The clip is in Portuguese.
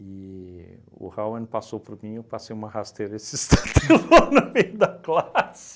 E o Hauen passou por mim e eu passei uma rasteira e se estatelou no meio da classe.